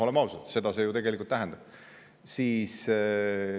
Olgem ausad, seda see ju tegelikult tähendab.